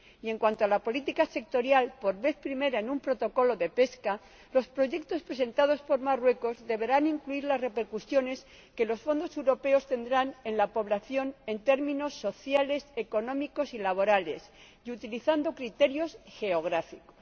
en cuanto a la política sectorial, por vez primera en un Protocolo de pesca, los proyectos presentados por Marruecos deberán incluir las repercusiones que los fondos europeos tendrán en la población en términos sociales, económicos y laborales, y utilizar criterios geográficos